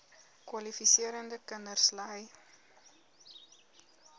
kwalifiserende kinders ly